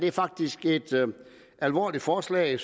er faktisk et alvorligt forslag